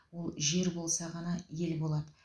ол жер болса ғана ел болады